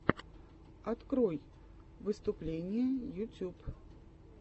открой выступления ютюб